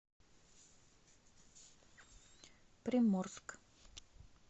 приморск